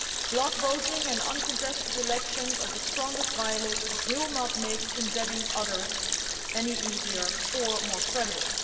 Bloc voting and uncontested elections among the worst culprits will not make condemning others any easier or more credible.